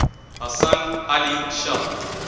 hasan ali shah